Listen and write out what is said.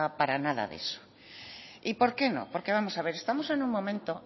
para nada de eso y por qué no porque vamos a ver estamos en un momento